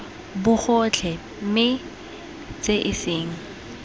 bogotlhe mme tse e seng